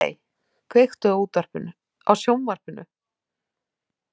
Lilley, kveiktu á sjónvarpinu.